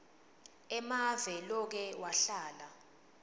emave loke wahlala